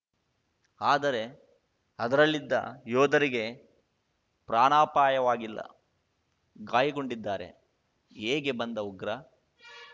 ಆದರೆ ಅದರಲ್ಲಿದ್ದ ಯೋಧರಿಗೆ ಪ್ರಾಣಾಪಾಯವಾಗಿಲ್ಲ ಗಾಯಗೊಂಡಿದ್ದಾರೆ ಹೇಗೆ ಬಂದ ಉಗ್ರ